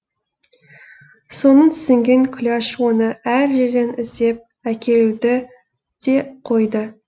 соны түсінген күләш оны әр жерден іздеп әкелуді де қойды